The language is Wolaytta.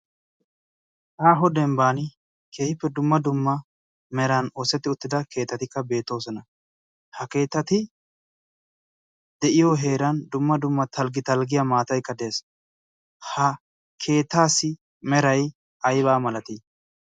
aahho dembban kehiippe dumma dumma meran oossetti uttida keetatikka beetoosona. ha keetati de'iyo heeran dumma dumma talggi talggiya maataikkad de'es ha keetaasi merai aibaa malatii?